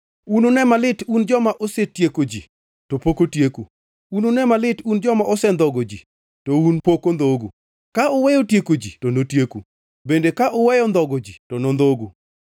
Unune malit un joma osetieko ji, to pok otieku! Unune malit un joma osendhogo ji, to un pok ondhogu! Ka uweyo tieko ji to notieku; bende ka uweyo ndhogo ji to nondhogu.